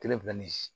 Kelen fila nin